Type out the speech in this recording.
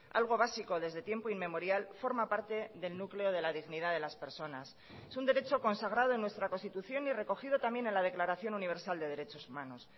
algo básico desde tiempo inmemorial forma parte del núcleo de la dignidad de las personas es un derecho consagrado en nuestra constitución y recogido también en la declaración universal de derechos humanos